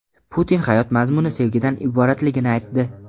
Putin hayot mazmuni sevgidan iboratligini aytdi.